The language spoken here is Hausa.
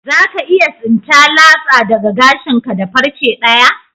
Za ka iya tsinta latsa daga gashin ka da farce daya?